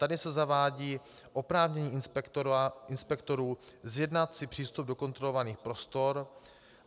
Tady se zavádí oprávnění inspektorů zjednat si přístup do kontrolovaných prostor.